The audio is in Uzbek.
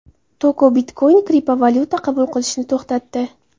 Toko Bitcoin kriptovalyuta qabul qilishni to‘xtatdi.